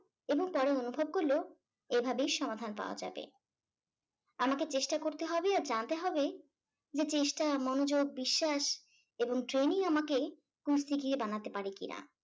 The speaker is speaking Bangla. এবং পরে অনুভব করলো এভাবে ই সমাধান পাওয়া যাবে। আমাকে চেষ্টা করতে হবে আর জানতে হবে যে চেষ্টা, মনোযোগ, বিশ্বাস এবং training আমাকে কুস্তিগীর বানাতে পারে কিনা।